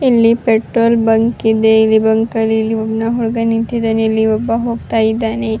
ವಿದ್ಯುತ್ ಬಲ್ಬನ ಕಂಬ ಇದೆ ಈ ಸೈಡ್ ಅಲ್ಲಿ ಮರ ಕಾಣಿಸ್ತಾ ಇದೆ.